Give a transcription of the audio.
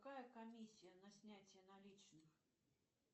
какая комиссия на снятие наличных